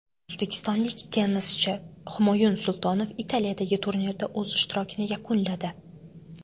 O‘zbekistonlik tennischi Humoyun Sultonov Italiyadagi turnirda o‘z ishtirokini yakunladi.